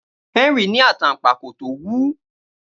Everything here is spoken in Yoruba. Henry ní a wú.